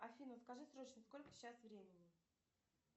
афина скажи срочно сколько сейчас времени